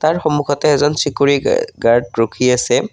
সন্মুখতে এজন security guard ৰখি আছে।